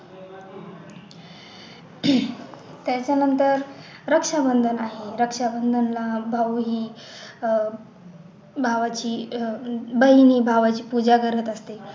त्याच्या नंतर रक्षा बंधन आहे रक्षाबंधनाला भाऊ ही अह भावाची अह बहीण ही भावाची पूजा करत असते